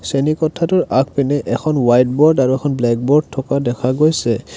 চেনিকোঠাটোৰ আগপিনে এখন white board আৰু এখন ব্লেক বোৰ্ড থকা দেখা গৈছে।